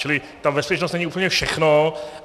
Čili ta bezpečnost není úplně všechno.